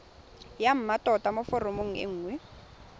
ya mmatota mo foromong nngwe